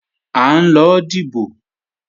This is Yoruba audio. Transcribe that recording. À ń lọ dìbò